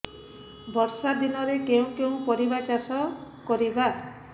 ବର୍ଷା ଦିନରେ କେଉଁ କେଉଁ ପରିବା ଚାଷ କରିବା